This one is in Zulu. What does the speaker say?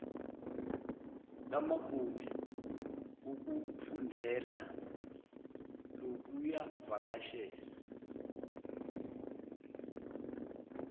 lamagumbi wokufundela lokuvakashela